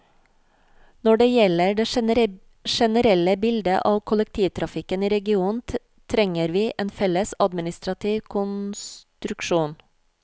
Når det gjelder det generelle bildet av kollektivtrafikken i regionen, trenger vi en felles administrativ konstruksjon.